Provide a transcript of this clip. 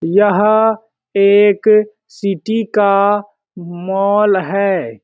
यह एक सिटी का मॉल हैं।